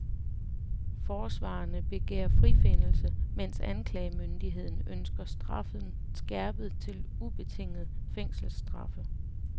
Forsvarerne begærer frifindelse, mens anklagemyndigheden ønsker straffen skærpet til ubetingede fængselsstraffe.